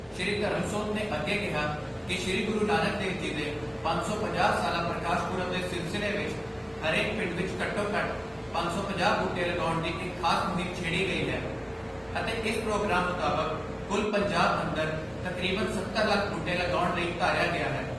ਸ਼੍ਰੀ ਧਰਮਸੋਤ ਨੇ ਅੱਗੇ ਕਿਹਾ ਕਿ ਸ਼੍ਰੀ ਗੁਰੂ ਨਾਨਕ ਦੇਵ ਜੀ ਦੇ ਪੰਜ ਸੌ ਪੰਜਾਹ ਸਾਲਾ ਪ੍ਰਕਾਸ਼ ਪਰਬ ਦੇ ਸਿਲਸਿਲੇ ਵਿਚ ਹਰੇਕ ਪਿੰਡ ਵਿੱਚ ਘੱਟੋ ਘੱਟ ਪੰਜ ਸੌ ਪੰਜਾਹ ਬੂਟੇ ਲਗਾਉਣ ਦੀ ਇੱਕ ਖਾਸ ਮੁਹਿਮ ਛੇੜੀ ਗਈ ਹੈ ਅਤੇ ਇਸ ਪ੍ਰੋਗਰਾਮ ਮੁਤਾਬਕ ਕੁੱਲ ਪੰਜਾਬ ਅੰਦਰ ਤਕਰੀਬਨ ਸੱਤਰ ਲੱਖ ਬੂਟੇ ਲਗਾਉਣ ਲਈ ਧਾਰਿਆ ਗਿਆ ਹੈ।